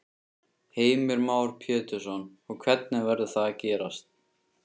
Heimir Már Pétursson: Og hvernig verður það gerst?